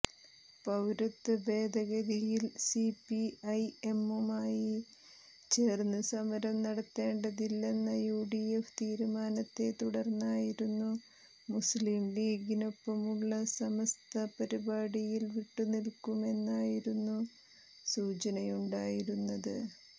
പൌരത്വഭേദഗതിയിൽ സിപിഐഎമ്മുമായി ചേർന്ന് സമരം നടത്തേണ്ടതില്ലെന്ന യുഡിഎഫ് തീരുമാനത്തെ തുടർന്നായിരുന്നു മുസ്ലിംലീഗിനൊപ്പമുള്ള സമസ്ത പരിപാടിയിൽ വിട്ടുനിൽക്കുമെന്നായിരുന്നു സൂചനയുണ്ടായിരുന്നത്